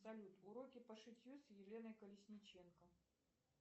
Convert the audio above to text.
салют уроки по шитью с еленой колесниченко